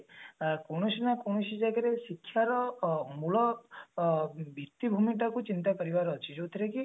ଅ କୌଣସି ନା କୌଣସି ଜାଗାରେ ଶିକ୍ଷାର ମୂଳ ଅ ଭିତ୍ତିଭୂମିଟାକୁ ଚିନ୍ତା କରିବାର ଅଛି ଯୋଉଟା କି